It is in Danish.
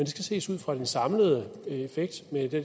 skal ses ud fra den samlede effekt med det